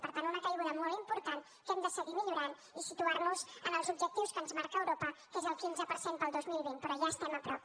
per tant una caiguda molt important que hem de seguir millorant i situar nos en els objectius que ens marca europa que és el quinze per cent per al dos mil vint però ja hi estem a prop